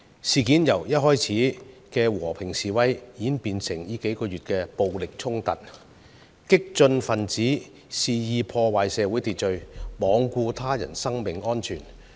事件由最初的和平示威，演變至近數月的暴力衝突，激進分子肆意破壞社會秩序，罔顧他人生命安全。